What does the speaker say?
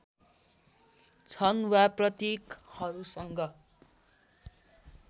छन् वा प्रतीकहरूसँग